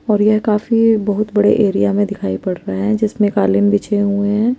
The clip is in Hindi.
और यह एक काफी बहुत बड़े एरिया मे दिखाई पड रहा है जिसमे कलीन बिछे हुए है ।